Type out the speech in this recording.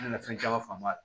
Nana fɛn caman faamu a la